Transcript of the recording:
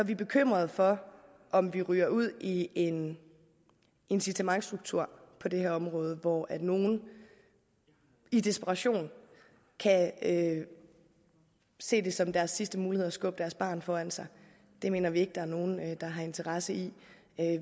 vi bekymrede for om vi ryger ud i en incitamentsstruktur på det her område hvor nogle i desperation kan se det som deres sidste mulighed at skubbe deres barn foran sig det mener vi ikke der er nogen der har interesse i